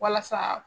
Walasa